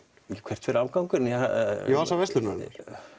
hvert fer afgangurinn í vasa verslunarinnar